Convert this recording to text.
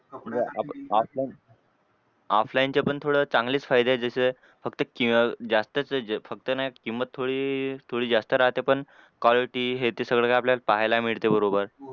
offline offline चे पण थोडं चांगलेच फायदे आहेत ज्याचे फक्त जास्तच आहे फक्त ना किंमत थोडी थोडी जास्त राहते पण quality हे ते सगळं काय आपल्याला पाहायला मिळते बरोबर.